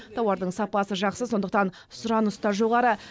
тауардың сапасы жақсы сондықтан сұраныс та жоғары